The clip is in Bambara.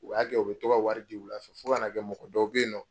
O y'a kɛ u bɛ tɔ ka wari di wula fɛ, fɔ ka n'a kɛ mɔgɔ dɔw bɛ yen nɔ